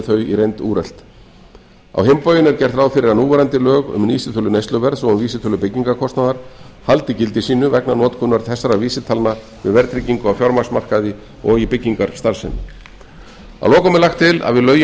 þau í reynd úrelt á hinn bóginn er gert ráð fyrir að núverandi lög um vísitölu neysluverðs og vísitölu byggingarkostnaðar haldi gildi sínu vegna notkunar þessara vísitalna við verðtryggingu á fjármagnsmarkaði og í byggingarstarfsemi að lokum er lagt til að við lögin